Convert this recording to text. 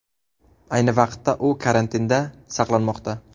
Ayni vaqtda u karantinda saqlanmoqda .